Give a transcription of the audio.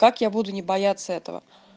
как я буду не бояться этого